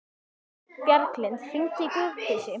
Bjarglind, hringdu í Guðdísi.